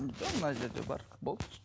жоқ мына жерде бар болды